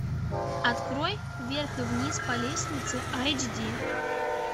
открой вверх и вниз по лестнице айч ди